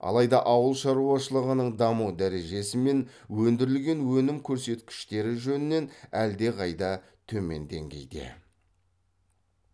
алайда ауыл шаруашылығының даму дәрежесі мен өндірілген өнім көрсеткіштері жөнінен әлдеқайда төмен деңгейде